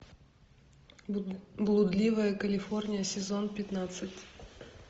блудливая калифорния сезон пятнадцать